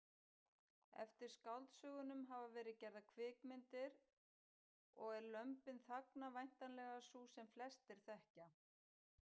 Eftir skáldsögunum hafa verið gerðar kvikmyndir og er Lömbin þagna væntanlega sú sem flestir þekkja.